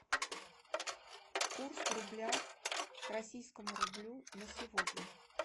курс рубля к российскому рублю на сегодня